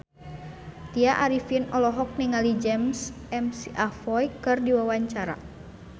Tya Arifin olohok ningali James McAvoy keur diwawancara